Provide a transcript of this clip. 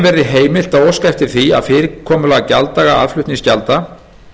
verði heimilt að óska eftir því að fyrirkomulag gjalddaga aðflutningsgjalda